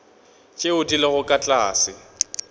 tšeo di lego ka tlase